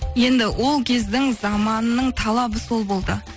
енді ол кездің заманының талабы сол болды